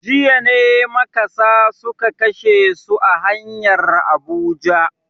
Jiya ne makasa suka kashe su a hanyar Abuja.